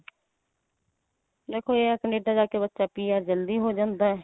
ਦੇਖੋ ਇਹ ਹੈ ਕਨੇਡਾ ਜਾ ਕੇ ਬੱਚਾ PR ਜੱਲਦੀ ਹੋ ਜਾਂਦਾ ਏ.